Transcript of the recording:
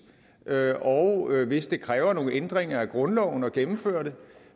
og hvis det kræver nogle ændringer af grundloven at gennemføre det